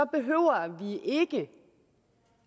behøver vi ikke